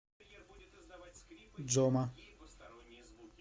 джома